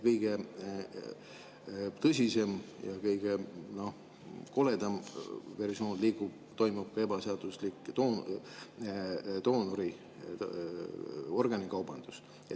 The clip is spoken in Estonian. Kõige tõsisem ja kõige koledam versioon on see, et toimub ka ebaseaduslik doonoriorganite kaubandus.